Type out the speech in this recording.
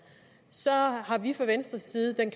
har vi fra venstres side den